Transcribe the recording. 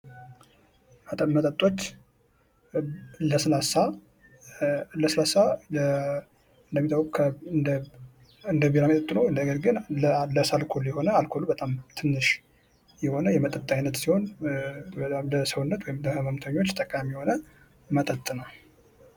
መጠጦች ለስላሳ እንደሚታወቀው እንደ ቢራ መጠጥ ሆኖ በጣም ትንሽ አልኮል የሆነ የመጠጥ አይነት ሲሆን በጣም ለሰውነት ጠቃሚ የሆነ መጠጥ ነው ።